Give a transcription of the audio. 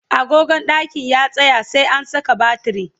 agogon ɗakin ya tsaya, sai an Saka batiri